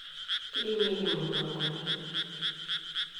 keimieki imupang'oni